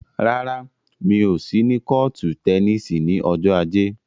Rárá, mi ò sí ní kọ́ọ̀tù tẹníìsì ní ọjọ́ ajé.